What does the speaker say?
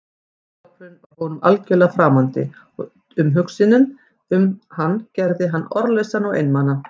Ísskápurinn var honum algjörlega framandi og umhugsunin um hann gerði hann orðlausan og einmana.